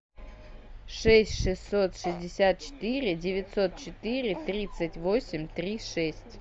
шесть шестьсот шестьдесят четыре девятьсот четыре тридцать восемь три шесть